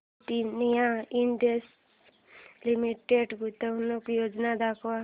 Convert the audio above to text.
Britannia industries limited गुंतवणूक योजना दाखव